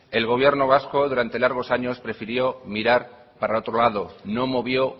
el gobierno vasco durante largos años prefirió mirar para otro lado no movió